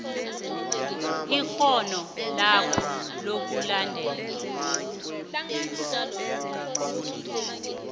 ikghono lakho lokulalela